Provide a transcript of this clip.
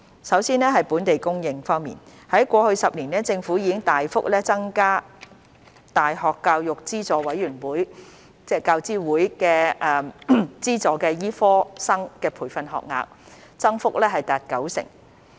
首先，在"本地供應"方面，過去10年，政府已大幅增加大學教育資助委員會資助的醫科生培訓學額，增幅達九成。